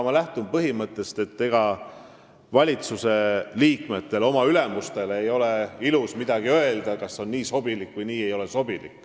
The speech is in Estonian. Ma lähtun põhimõttest – ma nüüd kohe rikun seda –, et valitsusliikmetel ei ole oma ülemustele ilus öelda, kas nii on sobilik või ei ole.